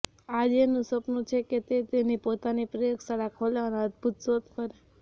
આર્યનનું સપનું છે કે તે તેની પોતાની પ્રયોગશાળા ખોલે અને અદભુત શોધ કરે